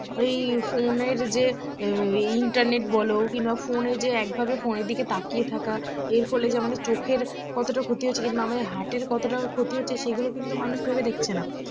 ওই phone এর যে internet বল কিংবা phone এ যে একভাবে phone এর দিকে তাকিয়ে থাকা এর ফলে যে আমাদের চোখের কতটা ক্ষতি হচ্ছে কিংবা আমাদের heart এর কতটা ক্ষতি হচ্ছে সেগুলো কিন্তু মানুষ ভেবে দেখছে না